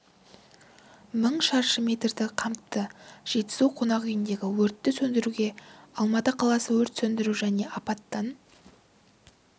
мың шаршы метрді қамтыды жетісу қонақ үйіндегі өртті сөндіруге алматы қаласы өрт сөндіру және апаттан